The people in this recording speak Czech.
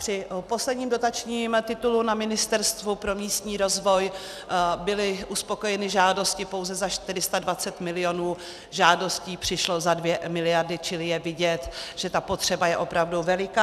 Při posledním dotačním titulu na Ministerstvu pro místní rozvoj byly uspokojeny žádosti pouze za 420 milionů, žádostí přišlo za 2 miliardy, čili je vidět, že ta potřeba je opravdu veliká.